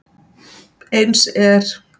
Eins er